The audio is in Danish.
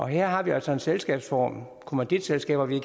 her har vi altså en selskabsform kommanditselskaber vi